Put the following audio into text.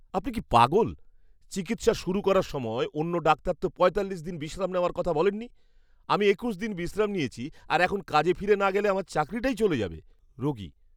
আপনি কি পাগল? চিকিৎসা শুরু করার সময়ে অন্য ডাক্তার তো পঁয়তাল্লিশ দিন বিশ্রাম নেওয়ার কথা বলেননি! আমি একুশ দিন বিশ্রাম নিয়েছি আর এখন কাজে ফিরে না গেলে আমার চাকরিটাই চলে যাবে। রোগী